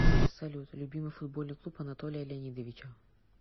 салют любимый футбольный клуб анатолия леонидовича